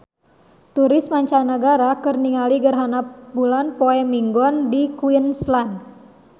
Turis mancanagara keur ningali gerhana bulan poe Minggon di Queensland